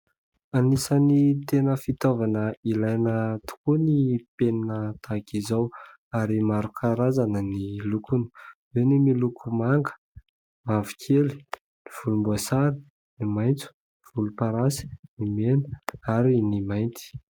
Anisan'ny tena fitaovana ilaina tokoa ny penina tahaka izao ary marokarazana ny lokony eo ny miloko manga , mavo kely , ny volom-boasary , ny maintso , volom-parasy , ny mena ary ny mainty